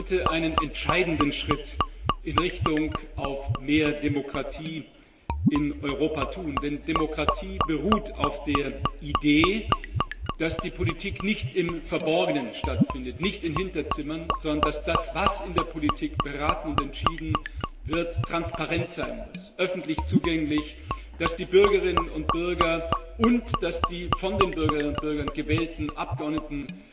Wir können heute einen entscheidenden Schritt in Richtung mehr Demokratie in Europa tun, denn Demokratie beruht auf der Idee, dass die Politik nicht im Verborgenen stattfindet, nicht in Hinterzimmern, sondern dass das, was in der Politik beraten und entschieden wird, transparent sein muss, öffentlich zugänglich, dass die Bürgerinnen und Bürger und die von den Bürgerinnen und Bürgern gewählten Abgeordneten